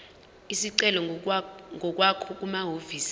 isicelo ngokwakho kumahhovisi